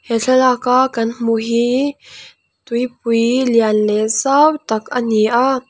he thlalak a kan hmuh hi tuipui lian leh zau tak a ni a.